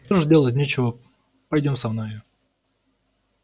что ж делать нечего пойдём со мною